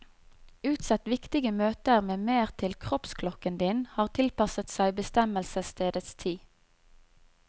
Utsett viktige møter med mer til kroppsklokken din har tilpasset seg bestemmelsesstedets tid.